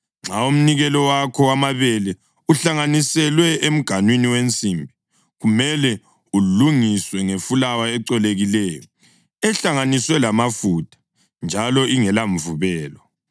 Nxa umnikelo wakho wamabele uhlanganiselwe emganwini wensimbi, kumele ulungiswe ngefulawa ecolekileyo, ehlanganiswe lamafutha njalo ingela mvubelo.